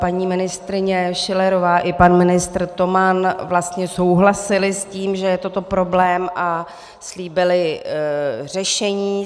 Paní ministryně Schillerová i pan ministr Toman vlastně souhlasili s tím, že je toto problém, a slíbili řešení.